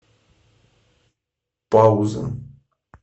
пауза